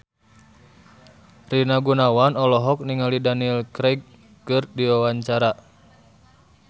Rina Gunawan olohok ningali Daniel Craig keur diwawancara